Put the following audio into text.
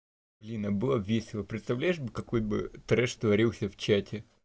блин а было бы весело представляешь какой бы треш творился в чате